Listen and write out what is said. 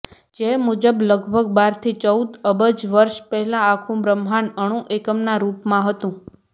જે મુજબ લગભગ બાર થી ચૌદ અબજ વર્ષ પહેલાં આખું બ્રહ્માંડ અણુ એકમના રૂપમાં હતું